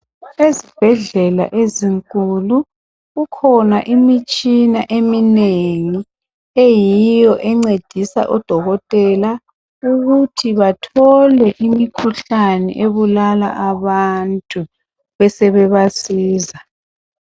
Ezibhedlela ezinkulu kukhona imitshina eminengi eyiyo encedisa odokotela ukuthi bathole imikhuhlane ebulala abantu besebasiza.